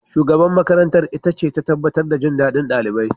Shugaban makarantar itace ta tabbatar da jin daɗin ɗalibai.